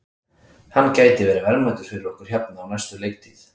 Hann gæti verið verðmætur fyrir okkur hérna á næstu leiktíð.